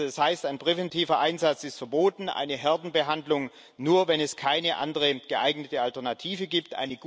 Das heißt, ein präventiver Einsatz ist verboten, eine Herdenbehandlung nur dann erlaubt, wenn es keine andere geeignete Alternative gibt.